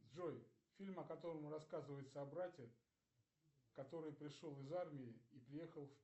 джой фильм о котором рассказывается о брате который пришел из армии и приехал